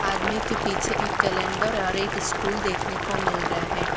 आदमी के पीछे एक कैलेंडर और एक स्टूल देखने को मिल रहा है।